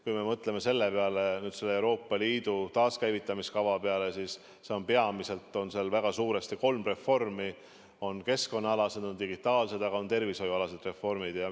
Kui me mõtleme Euroopa Liidu taaskäivitamiskava peale, siis peamiselt, väga suuresti on seal kolm reformi: keskkonna-, digitaal- ja tervishoiureform.